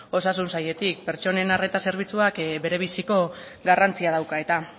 osasun sailetik pertsonen arreta zerbitzuak berebiziko garrantzia dauka eta